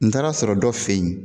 N taara sɔrɔ dɔ fɛ yen.